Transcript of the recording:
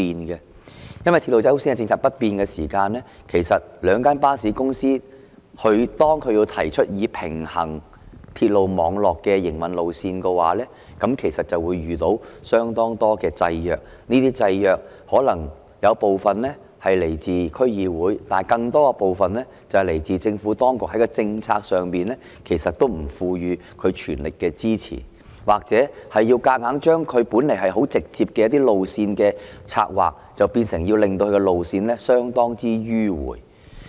由於"鐵路優先"的政策不變，當兩間巴士公司提出平衡鐵路網絡的營運路線，便會遇到相當多制約；這些制約可能有部分是來自區議會，但更多部分是來自政府當局在政策上不全力支持，或硬要把本來十分直接的一些路線策劃變得相當迂迴曲折。